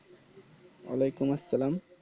ওয়ালাইকুম আসসালাম